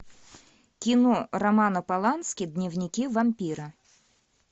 кино романа полански дневники вампира